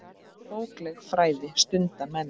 Bókleg fræði stunda menn.